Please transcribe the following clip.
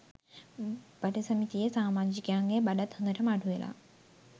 බඩ සමිතියේ සාමාජිකයන්ගේ බඩත් හොදටම අඩු වෙලා